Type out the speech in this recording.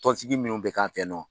Tɔnsigi minnu bɛ k'an fɛ yan nɔ